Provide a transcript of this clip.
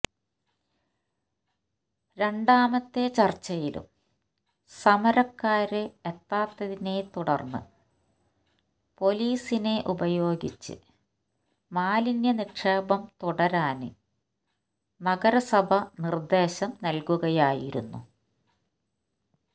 രണ്ടാമത്തെ ചര്ച്ചയിലും സമരക്കാര് എത്താത്തതിനെ തുടര്ന്ന് പൊലീസിനെ ഉപയോഗിച്ച് മാലിന്യ നിക്ഷേപം തുടരാന് നരസഭ നിര്ദേശം നല്കുകയായിരുന്നു